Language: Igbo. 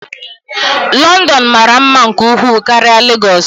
London mara mma nke ukwuu karịa Lagos.